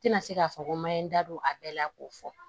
Tɛna se k'a fɔ ko ma ye n da don a bɛɛ la k'o fɔ